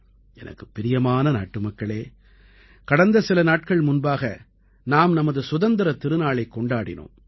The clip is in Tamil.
எனக்குப் பிரியமான நாட்டுமக்களே கடந்த சில நாட்கள் முன்பாக நாம் நமது சுதந்திரத் திருநாளைக் கொண்டாடினோம்